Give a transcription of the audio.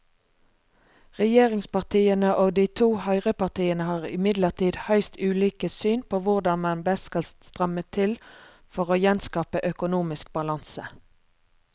Regjeringspartiene og de to høyrepartiene har imidlertid høyst ulike syn på hvordan man best skal stramme til for å gjenskape økonomisk balanse.